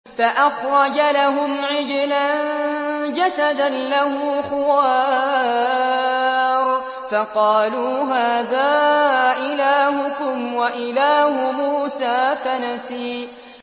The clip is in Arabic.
فَأَخْرَجَ لَهُمْ عِجْلًا جَسَدًا لَّهُ خُوَارٌ فَقَالُوا هَٰذَا إِلَٰهُكُمْ وَإِلَٰهُ مُوسَىٰ فَنَسِيَ